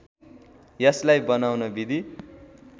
यसलाई बनाउन विधि